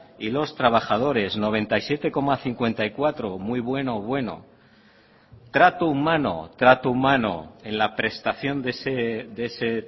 y los trabajadores noventa y siete coma cincuenta y cuatro muy bueno bueno trato humano trato humano en la prestación de ese